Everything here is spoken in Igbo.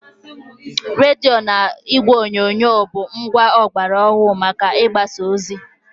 Rediyo na igwe onyonyo bụ ngwa ọgbara ọhụrụ maka ịgbasa ozi.